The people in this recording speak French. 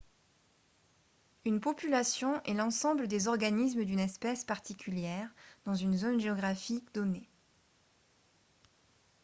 une population est l'ensemble des organismes d'une espèce particulière dans une zone géographique donnée